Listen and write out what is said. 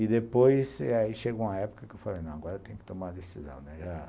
E, depois, aí chegou uma época que eu falei, não, agora eu tenho que tomar uma decisão, né.